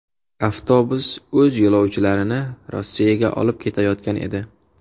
Avtobus o‘z yo‘lovchilarini Rossiyaga olib ketayotgan edi.